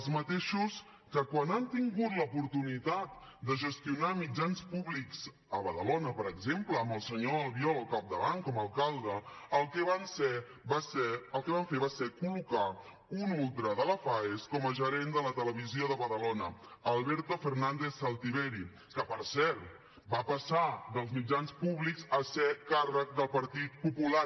els mateixos que quan han tingut l’oportunitat de gestionar mitjans públics a badalona per exemple amb el senyor albiol al capdavant com a alcalde el que van fer va ser col·locar un ultra de la faes com a gerent de la televisió de badalona alberto fernández saltiveri que per cert va passar dels mitjans públics a ser càrrec del partit popular